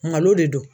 Malo de don